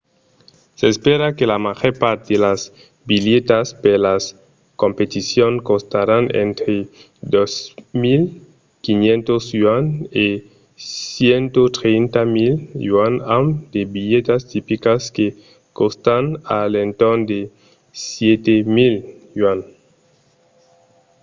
s'espèra que la màger part de las bilhetas per las competicions costaràn entre 2 500¥ e 130 000¥ amb de bilhetas tipicas que còstan a l’entorn de 7 000¥